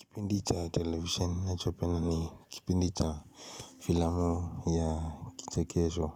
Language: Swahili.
Kipindi cha televisheni nachopenda ni kipindi cha filamu ya kichekesho